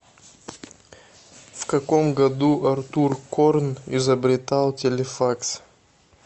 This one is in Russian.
в каком году артур корн изобретал телефакс